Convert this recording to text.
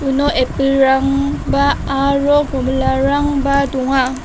uno apple-rangba aro komilarangba donga.